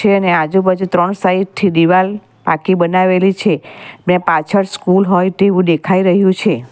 તેની આજુબાજુ ત્રણ સાઇડ થી દિવાલ આખી બનાવેલી છે ને પાછળ સ્કૂલ હોય તેવું દેખાય રહ્યું છે.